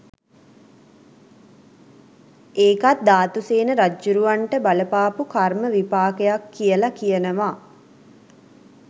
ඒකත් ධාතුසේන රජ්ජුරුවන්ට බලපාපු කර්ම විපාකයක් කියල කියනවා.